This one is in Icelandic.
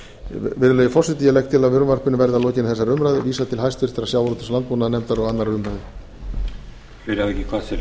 virðulegi forseti ég legg til að frumvarpinu verði að lokinni þessari umræðu vísað til háttvirtrar sjávarútvegs og landbúnaðarnefndar og annarrar umræðu